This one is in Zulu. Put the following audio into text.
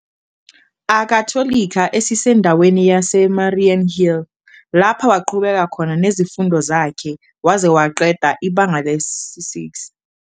Akhatholika esisendaweni yaseMariannhill, lapha waqhubeka nezifundo zakhe waze waqeda ibanga lesi-6.